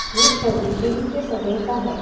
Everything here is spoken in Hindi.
ये छवि दिन के समय का है।